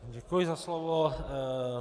Děkuji za slovo.